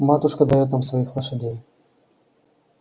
матушка даёт нам своих лошадей